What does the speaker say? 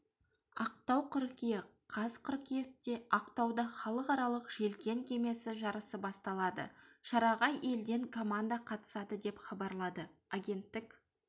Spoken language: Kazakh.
ақтау қыркүйек қаз қыркүйекте ақтаудахалықаралық желкен кемесі жарысы басталады шараға елден команда қатысады деп хабарлады агенттік